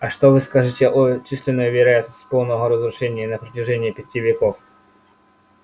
а что вы скажете о численной вероятности полного разрушения на протяжении пяти веков